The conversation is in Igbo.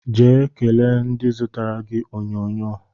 Jee kelee ndị zụtara gị onyonyo